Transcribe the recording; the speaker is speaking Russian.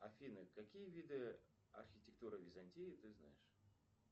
афина какие виды архитектуры византии ты знаешь